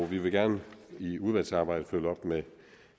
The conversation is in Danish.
vi vil gerne i udvalgsarbejdet følge op med